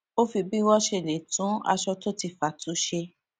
ó fi bí wón ṣe lè tún aṣọ tó ti fà tu ṣe